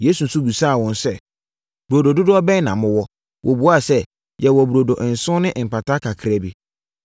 Yesu nso bisaa wɔn sɛ, “Burodo dodoɔ bɛn na mowɔ?” Wɔbuaa sɛ, “Yɛwɔ burodo nson ne mpataa kakraa bi.”